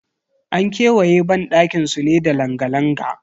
An kewaye banɗakin su ne da langa-langa.